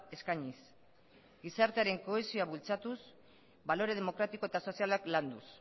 eskainiz gizartearen kohesioa bultzatuz balore demokratiko eta sozialak landuz